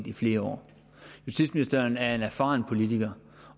i flere år justitsministeren er en erfaren politiker